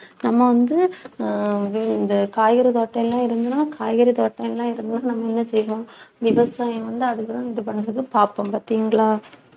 நம்ம வந்து ஆஹ் இந்த காய்கறி தோட்டம் எல்லாம் இருந்ததுன்னா காய்கறி தோட்டம் எல்லாம் இருந்ததுன்னா நம்ம என்ன செய்வோம் விவசாயம் வந்து, அதுக்குத்தான் இது பண்ணுறதக்கு பார்ப்போம் பாத்தீங்களா